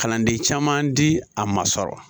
Kalanden caman di a ma sɔrɔ